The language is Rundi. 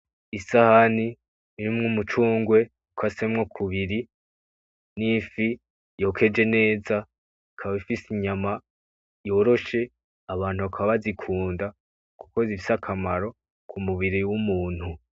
Isahani irimwo umucungwe ukasemwo kubiri, nifi yokeje neza ikaba ifise inyama yoroshe abantu bakaba bazikunda kuko zifise akamaro kumubiri wumuntu.